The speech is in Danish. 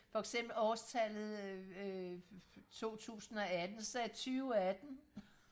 for eksempel årstallet øh totusindeogatten så sagde jeg tyveatten